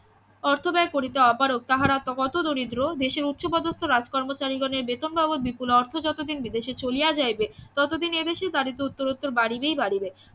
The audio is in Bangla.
অর্থ ব্যয় করিতে অপারগ তাহার আত্মা কত দরিদ্র দেশের উচ্চ পদস্থ রাজকর্মচারীগণের বেতন বাবদ বিপুল অর্থ যতদিন বিদেশে চলিয়া যাইবে ততদিন এদেশের দারিদ্র উত্তরোত্তর বাড়িবে বাড়িবে